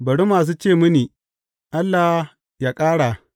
Bari masu ce mini, Allah yă ƙara!